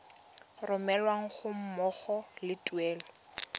romelwa ga mmogo le tuelo